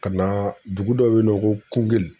Ka na dugu dɔ bɛ yen nɔ ko Kugeli